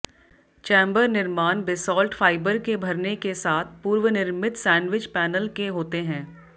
chamber निर्माण basalt fibre के भरने के साथ पूर्वनिर्मित सैंडविच पैनल के होते हैं